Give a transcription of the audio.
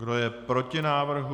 Kdo je proti návrhu?